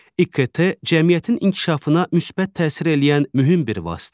İKT cəmiyyətin inkişafına müsbət təsir eləyən mühüm bir vasitədir.